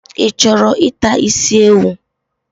Ichoro ita isi ewu?